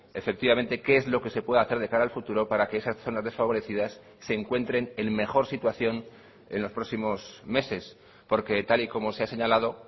efectivamente qué es lo que se puede hacer de cara al futuro para que esas zonas desfavorecidas se encuentren en mejor situación en los próximos meses porque tal y como se ha señalado